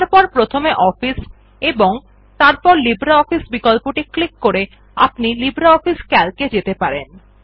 তারপর প্রথমে অফিস এবং তারপর লফিসিব্রেঅফিস বিকল্পটির উপর ক্লিক করে আপনি লিব্রিঅফিস সিএএলসি এ যেতে পারেন